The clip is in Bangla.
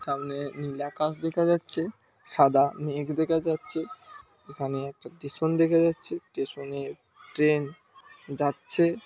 সামনে নীল আকাশ দেখা যাচ্ছে সাদা মেঘ দেখা যাচ্ছে এখানে একটি টেশন দেখা যাচ্ছে টেশন এ ট্রেন যাচ্ছে -